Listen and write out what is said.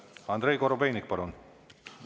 Andrei Korobeinik, palun!